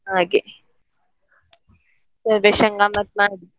ಹಾಗೆ celebration ಗಮ್ಮತ್ ಮಾಡಿ.